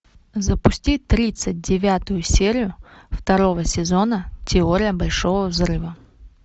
запусти тридцать девятую серию второго сезона теория большого взрыва